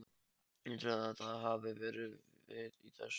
Heldurðu að það hafi verið vit í þessu?